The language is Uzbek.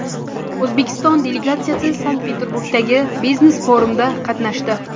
O‘zbekiston delegatsiyasi Sankt-Peterburgdagi biznes-forumda qatnashdi.